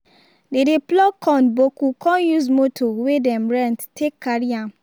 dey dey pluck corn boku con use motor wey dem rent take carry am